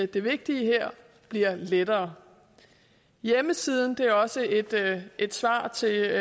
det vigtige her bliver lettere hjemmesiden det er også et svar til